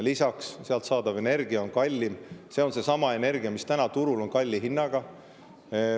Lisaks sealt saadav energia on kallim, see on seesama energia, mis täna turul on kalli hinnaga.